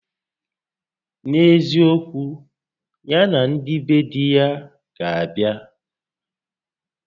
N'eziokwu, ya na ndị be di ya ga abịa